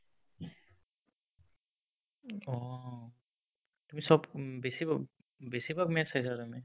অ', তুমি চব বেছি বেছিভাগ match চাইচা তুমি